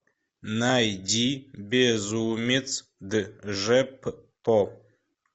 найди безумец джеппо